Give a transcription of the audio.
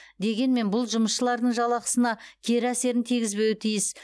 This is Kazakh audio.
дегенмен бұл жұмысшылардың жалақысына кері әсерін тигізбеуі тиіс